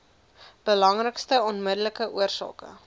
belangrikste onmiddellike oorsake